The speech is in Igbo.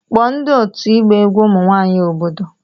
Kpọọ ndị otu ịgba egwu ụmụ nwanyị obodo